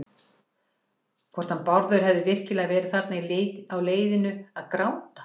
Hvort hann Bárður hefði virkilega verið þarna á leiðinu að gráta.